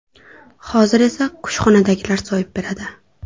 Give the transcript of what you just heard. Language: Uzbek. Hozir esa kushxonadagilar so‘yib beradi.